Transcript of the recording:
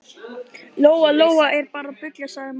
Lóa Lóa er bara að bulla, sagði mamma.